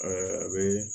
a bɛ